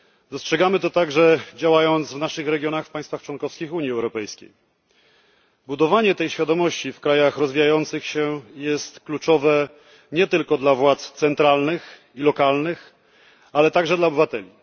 Dostrzegamy to także, działając w naszych regionach w państwach członkowskich Unii Europejskiej. Budowanie tej świadomości w krajach rozwijających się jest kluczowe nie tylko dla władz centralnych i lokalnych, ale także dla obywateli.